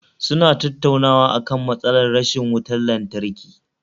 Suna tattaunawa akan matsalar rashin wutar lantarki